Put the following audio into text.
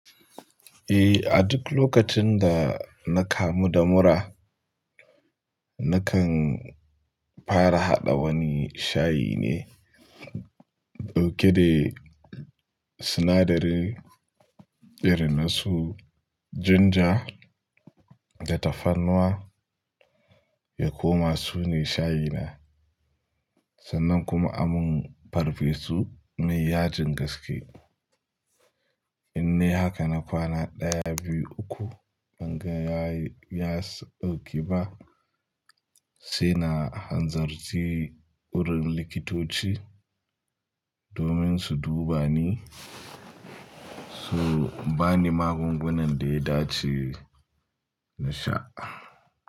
Eh, a duk lokacin da na kamu da mura, nakan fara haɗa wani shayi ne ɗauke da sinadarin birnasu, ginger da tafarnuwa. Ya koma su ne shayina sannan kuma a mun farfesu me yajin gaske. In nai haka na kwana ɗaya, biyu, uku ban ga ya yi ya dauke ba sai na hanzarci wurin likitoci domin su duba ni. So bani magungunan da ya dace na sha.